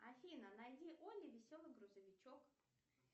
афина найди олли веселый грузовичок